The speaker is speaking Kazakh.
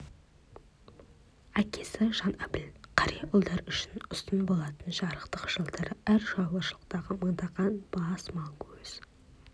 әкесі жанәбіл қария ұлдары үшін ұстын болатын жарықтық жылдары әр шаруашылықтағы мыңдаған бас мал көз